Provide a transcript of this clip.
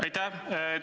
Aitäh!